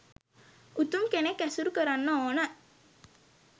උතුම් කෙනෙක් ඇසුරු කරන්න ඕන